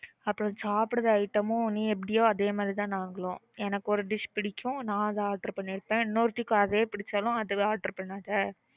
அப்புறம் சாப்புட்ற item நீ எப்பிடியோ அப்பிடியே தான் நாங்களும் எங்கு ஒரு dish புடிக்கும் நான் அதா order பண்ணிருப்பான் இன்னொர்த்திக்கு அதே புடிச்சாலும் அதுதான் order பண்ணுவா